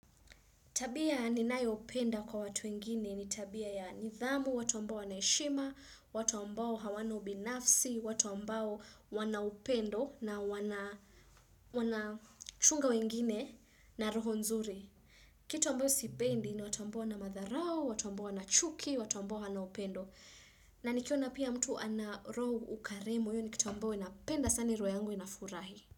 Tabia ninayo upenda kwa watu wengine ni tabia ya nidhamu, watu mbao wanaheshima, watu ambao hawana ubinafsi, watu ambao wanaupendo na wanachunga wengine na roho nzuri. Kitu ambayo sipendi ni watu ambao wana madharau, watu ambao wana chuki, watu ambao hawana upendo. Na nikiona pia mtu ana roho ukarimu, hio ni kitu ambayoo inapenda, sana roho yangu inafurahi.